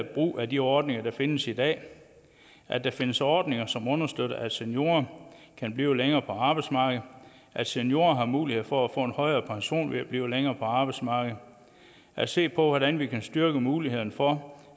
brug af de ordninger der findes i dag at der findes ordninger som understøtter at seniorer kan blive længere på arbejdsmarkedet at seniorer har mulighed for at få en højere pension ved at blive længere på arbejdsmarkedet at se på hvordan vi kan styrke mulighederne for